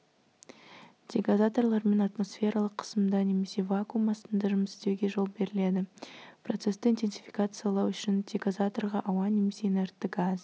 дегазаторлармен атмосфералық қысымда немесе вакуум астында жұмыс істеуге жол беріледі процессті интенсификациялау үшін дегазаторға ауа немесе инертті газ